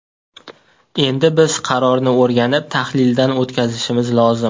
Endi biz qarorni o‘rganib, tahlildan o‘tkazishimiz lozim.